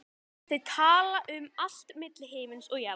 Þau tala um allt milli himins og jarðar.